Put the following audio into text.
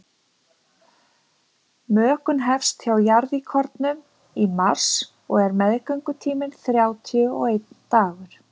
mökun hefst hjá jarðíkornum í mars og er meðgöngutíminn þrjátíu og einn dagur